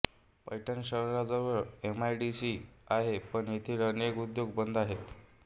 पैठण शहराजवळ एमआयडीसी आहे पण तेथील अनेक उद्योग बंद आहेत